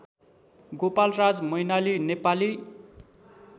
Gopalraj Mainali Nepali